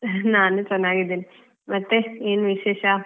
ನಾನು ಚೆನ್ನಾಗಿದ್ದೇನೆ ಮತ್ತೆ ಏನ್ ವಿಶೇಷ?